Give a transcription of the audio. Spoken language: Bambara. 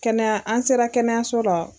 Kɛnɛya, an sera kɛnɛyaso la.